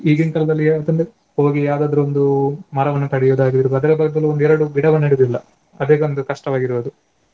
ಈಗ್~ ಈಗಿನ್ ಕಾಲದಲ್ಲಿ ಹೋಗಿ ಯಾವುದಾದ್ರು ಒಂದು ಮರವನ್ನು ಕಡಿಯುದಾಗಿರ್ಬೋದು ಅದರ ಬದಲು ಒಂದೆರಡು ಗಿಡವು ನೆಡುವುದಿಲ್ಲ. ಅದೇ ಒಂದು ಕಷ್ಟವಾಗಿರುವುದು.